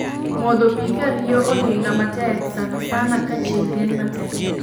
Modho pi ka riyo ohinga matek sanasana ka chieng' rieny matek